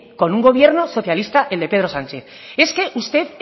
con un gobierno socialista el de pedro sánchez es que ustedes